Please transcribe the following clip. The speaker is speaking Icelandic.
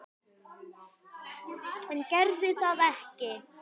En gerði það ekki.